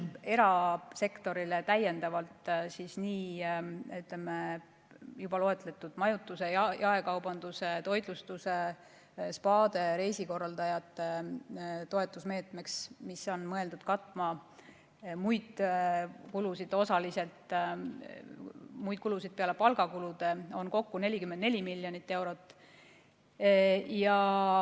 Erasektorile, nii majutuse, jaekaubanduse, toitlustuse, spaade kui ka reisikorraldajate toetusmeetmeks, mis on mõeldud osaliselt katma muid kulusid peale palgakulude, on täiendavalt ette nähtud 44 miljonit eurot.